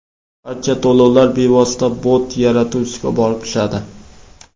Barcha to‘lovlar bevosita bot yaratuvchisiga borib tushadi.